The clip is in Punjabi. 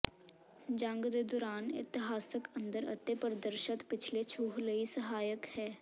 ਜੰਗ ਦੇ ਦੌਰਾਨ ਇਤਿਹਾਸਕ ਅੰਦਰ ਅਤੇ ਪ੍ਰਦਰਸ਼ਤ ਪਿਛਲੇ ਛੂਹ ਲਈ ਸਹਾਇਕ ਹੈ